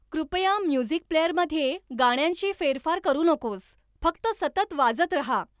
कृपया म्युझिक प्लेअरमध्ये गाण्यांची फेरफार करू नकोस फक्त सतत वाजत रहा